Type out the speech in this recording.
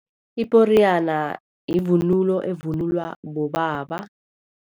Iporiyana yivunulo evunulwa bobaba.